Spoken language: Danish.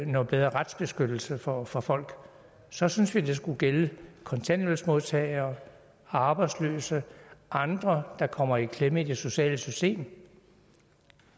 noget bedre retsbeskyttelse for for folk så synes vi at det skulle gælde kontanthjælpsmodtagere arbejdsløse og andre der kommer i klemme i det sociale system